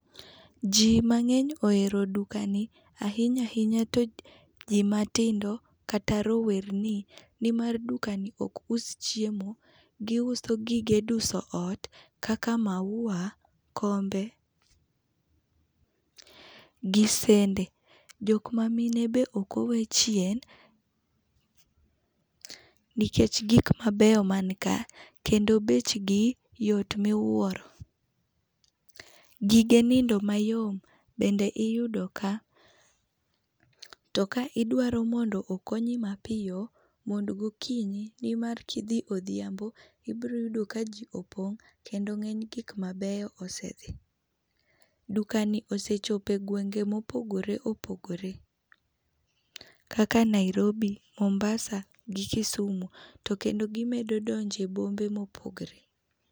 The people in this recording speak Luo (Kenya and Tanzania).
Jii mangeny ohero dukani ahinya ahinya to jii ma tindo kata rowerni nimar dukani ok us chiemo, guso gige duso ot kaka maua, kombe gi sende. Jokma mine be ok owe chien nikech gik mabeyo man ka kendo bechgi yot miwuoro, gige nindo mayom bende iyudo ka ,to ka idwaro mondo okonyo mapiyo mond gokinyi nimar kidhi odhiambo ibiro yudo ka jii opong kendo gik mabeyo osedhi. Dukani osechopo e gwenge ma opogore opogore kaka Nairobi, Mombasa gi Kisumu to kendo gimedo donjo e bombe ma opogore.